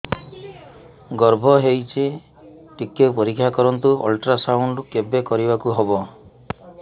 ଗର୍ଭ ହେଇଚି ଟିକେ ପରିକ୍ଷା କରନ୍ତୁ ଅଲଟ୍ରାସାଉଣ୍ଡ କେବେ କରିବାକୁ ହବ